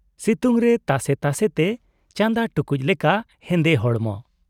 ᱥᱤᱛᱩᱝ ᱨᱮ ᱛᱟᱥᱮ ᱛᱟᱥᱮ ᱛᱮ ᱪᱟᱸᱫᱟ ᱴᱩᱠᱩᱡ ᱞᱮᱠᱟ ᱦᱮᱸᱫᱮ ᱦᱚᱲᱢᱚ ᱾